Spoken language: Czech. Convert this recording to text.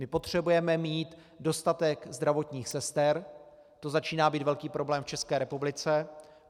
My potřebujeme mít dostatek zdravotních sester, to začíná být velký problém v České republice.